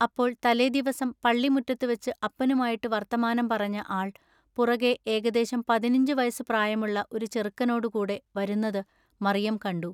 അപ്പോൾ തലേദിവസം പള്ളി മുറ്റത്തുവച്ചു അപ്പനുമായിട്ടു വൎത്തമാനം പറഞ്ഞ ആൾ പുറകെ ഏകദേശം പതിനഞ്ചു വയസ്സുപ്രായമുള്ള ഒരു ചെറുക്കനോടു കൂടെ വരുന്നതു മറിയം കണ്ടു.